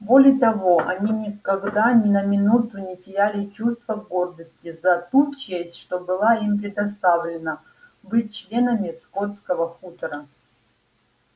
более того они никогда ни на минуту не теряли чувства гордости за ту честь что была им предоставлена быть членами скотского хутора